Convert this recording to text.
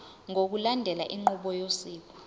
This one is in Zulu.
ngokulandela inqubo yosiko